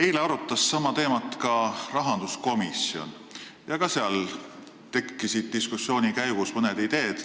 Eile arutas sama teemat rahanduskomisjon ja ka seal tekkisid diskussiooni käigus mõned ideed.